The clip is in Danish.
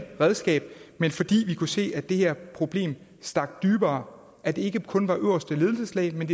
redskab men fordi vi kunne se at det her problem stak dybere at det ikke kun var øverste ledelseslag men